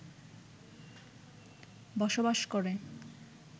বসবাস করে